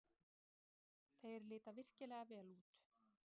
Þeir líta virkilega vel út.